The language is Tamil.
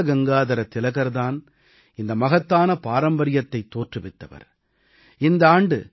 லோக்மான்ய பாலகங்காதர திலகர் தான் இந்த மகத்தான பாரம்பரியத்தைத் தோற்றுவித்தவர்